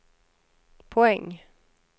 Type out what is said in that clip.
poäng